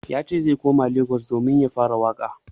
Yace zai koma Lagos domin ya fara waƙa.